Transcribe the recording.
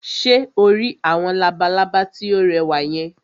Ṣé o rí àwọn labalábá tí ó rẹwà yẹn?